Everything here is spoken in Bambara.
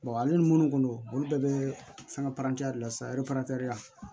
ale ni munnu ko olu bɛɛ bɛ fɛn parantiya de lase